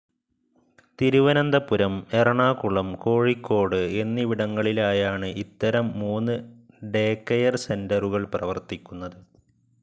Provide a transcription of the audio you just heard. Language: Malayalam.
തിരുവനന്തപുരം, എറണാകുളം, കോഴിക്കോട് എന്നിവിടങ്ങളിലായാണ് ഇത്തരം മൂന്ന് ഡേകെയർ സെൻ്ററുകൾ പ്രവർത്തിക്കുന്നത്.